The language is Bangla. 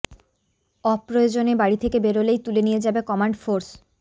অপ্রয়োজনে বাড়ি থেকে বেরোলেই তুলে নিয়ে যাবে কমান্ড ফোর্স